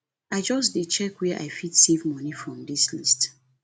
i just dey check where i fit save moni from dis list